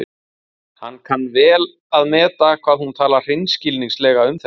Hann kann vel að meta hvað hún talar hreinskilnislega um þetta.